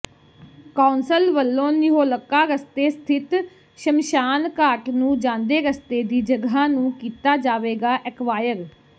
council ਵੱਲੋਂ ਨਿਹੋਲਕਾ ਰਸਤੇ ਸਥਿਤ ਸ਼ਮਸ਼ਾਨਘਾਟ ਨੂੰ ਜਾਂਦੇ ਰਸਤੇ ਦੀ ਜਗ੍ਹਾ ਨੂੰ ਕੀਤਾ ਜਾਵੇਗਾ ਐਕਵਾਇਰ